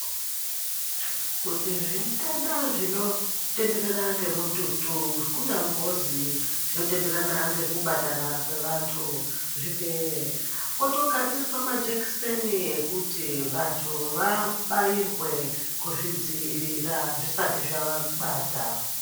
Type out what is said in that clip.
Kuti zvitenda zvinotenderera ngemututu kunyambozi zvinotenderana ngekubatana kwevantu zvipere kwotogadzirwe majekiseni ekuti vantu vabairwe kuzvidziirira zvisati zvavabata.